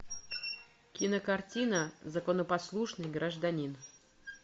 кинокартина законопослушный гражданин